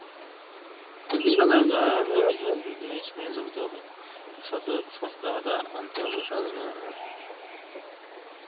সাধারণ জনগণের নিয়ে জ্বলতে হবে, সচেতনতা আনতে হবে সাধারণ জনগণের